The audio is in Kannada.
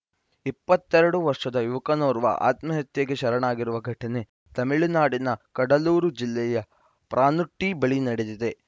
ಇಪ್ಪತ್ತ್ ಎರಡು ವರ್ಷದ ಯುವಕನೋರ್ವ ಆತ್ಮಹತ್ಯೆಗೆ ಶರಣಾಗಿರುವ ಘಟನೆ ತಮಿಳುನಾಡಿನ ಕಡಲೂರು ಜಿಲ್ಲೆಯ ಪನ್ರುಟ್ಟಿಬಳಿ ನಡೆದಿದೆ